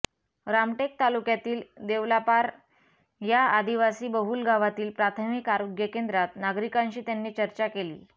रामटेक तालुक्यातील देवलापार या आदिवासीबहुल गावातील प्राथमिक आरोग्य केंद्रात नागरिकांशी त्यांनी चर्चा केली